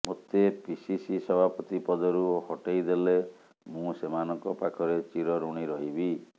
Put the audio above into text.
ମୋତେ ପିସିସି ସଭାପତି ପଦରୁ ହଟେଇ ଦେଲେ ମୁଁ ସେମାନଙ୍କ ପାଖରେ ଚିର ଋଣୀ ରହିବି